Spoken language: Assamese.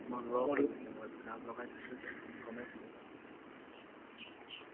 মোৰ হৈ গৈছে এইটো কাণত লগাই থৈছো যে গমেই পোৱা নাই